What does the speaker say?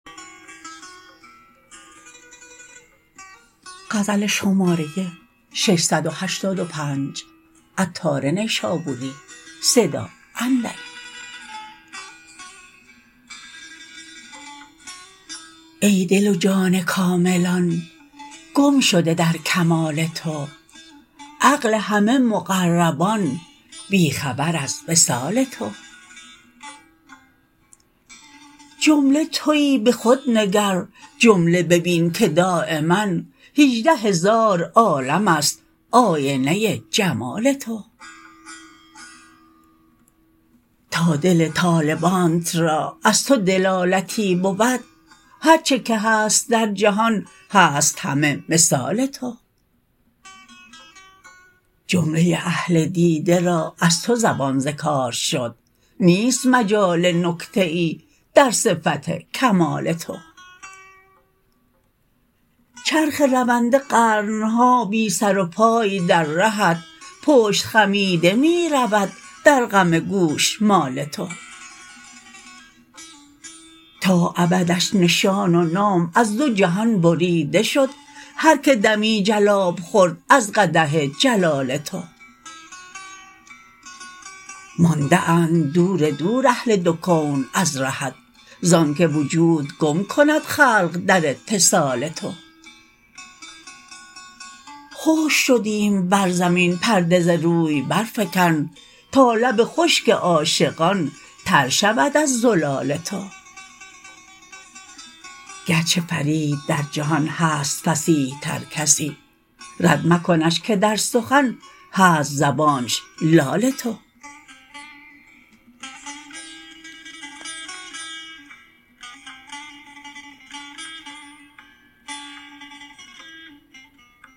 ای دل و جان کاملان گم شده در کمال تو عقل همه مقربان بی خبر از وصال تو جمله تویی به خود نگر جمله ببین که دایما هجده هزار عالم است آینه جمال تو تا دل طالبانت را از تو دلالتی بود هرچه که هست در جهان هست همه مثال تو جمله اهل دیده را از تو زبان ز کار شد نیست مجال نکته ای در صفت کمال تو چرخ رونده قرن ها بی سر و پای در رهت پشت خمیده می رود در غم گوشمال تو تا ابدش نشان و نام از دو جهان بریده شد هر که دمی جلاب خورد از قدح جلال تو مانده اند دور دور اهل دو کون از رهت زانکه وجود گم کند خلق در اتصال تو خشک شدیم بر زمین پرده ز روی برفکن تا لب خشک عاشقان تر شود از زلال تو گرچه فرید در جهان هست فصیح تر کسی رد مکنش که در سخن هست زبانش لال تو